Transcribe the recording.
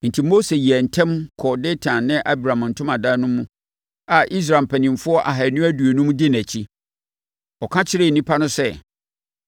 Enti, Mose yɛɛ ntɛm kɔɔ Datan ne Abiram ntomadan no mu a Israel mpanimfoɔ ahanu aduonum di nʼakyi. Ɔka kyerɛɛ nnipa no sɛ,